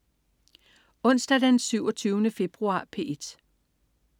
Onsdag den 27. februar - P1: